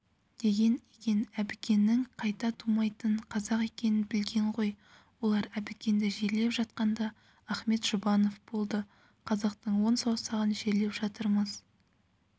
деген екен әбікеннің қайта тумайтын қазақ екенін білген ғой олар әбікенді жерлеп жатқанда ахмет жұбанов болды қазақтың он саусағын жерлеп жатырмыз